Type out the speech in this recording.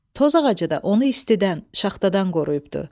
Toz ağacı da onu istidən, şaxtadan qoruyubdu.